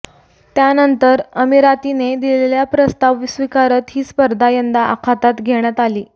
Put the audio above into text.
त्यानंतर अमिरातीने दिलेला प्रस्ताव स्वीकारत ही स्पर्धा यंदा आखातात घेण्यात आली